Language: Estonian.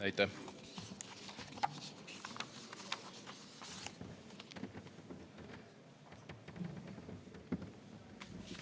Aitäh!